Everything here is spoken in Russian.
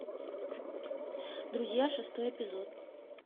друзья шестой эпизод